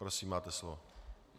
Prosím, máte slovo.